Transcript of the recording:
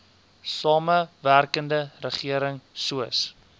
samewerkende regering soos